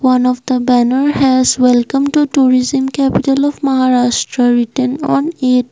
One of the banner has welcome to tourism capital of maharashtra written on it.